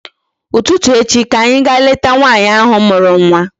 Ụtụtụ echi ka anyị ga leta nwaanyị ahụ mụrụ nwa